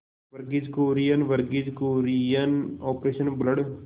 Verghese Kurien Verghese Kurien Operation blood